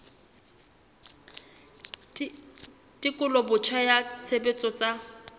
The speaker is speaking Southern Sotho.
tekolo botjha ya tshebetso tsa